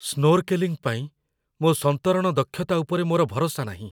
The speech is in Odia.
ସ୍ନୋର୍କେଲିଂ ପାଇଁ ମୋ ସନ୍ତରଣ ଦକ୍ଷତା ଉପରେ ମୋର ଭରସା ନାହିଁ।